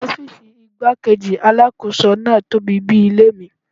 Ọ́fíìsì igbá-kejì Alákóso náà tóbi bí i ilé mi.